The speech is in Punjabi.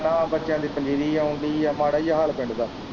ਨਾ ਬੱਚਿਆਂ ਦੀ ਪੰਜੀਰੀ ਆਉਣ ਦੀ ਹੈ ਮਾੜਾ ਹੀ ਹਾਲ ਪਿੰਡ ਦਾ।